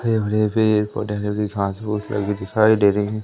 हरे भरे पेड़ पौधे घास पुस लगे दिखाई दे रहे--